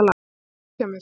Þetta var flott hjá mér.